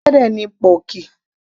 ẹran ẹlẹ́dẹ̀ ni pọ́ọ̀kì